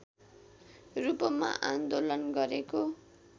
रूपमा आन्दोलन गरेको